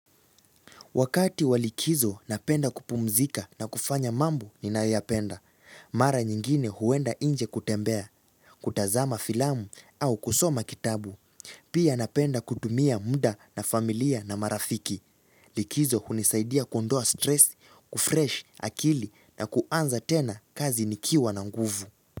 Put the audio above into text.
Wakati wa likizo napenda kupumzika na kufanya mambo ninayoyapenda. Mara nyingine huenda inje kutembea, kutazama filamu au kusoma kitabu. Pia napenda kutumia mda na familia na marafiki. Likizo hunisaidia kuondoa stress, kufresh, akili na kuanza tena kazi nikiwa na nguvu.